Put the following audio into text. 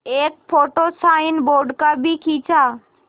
एक photo signboard का भी खींचा